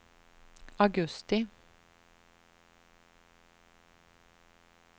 augusti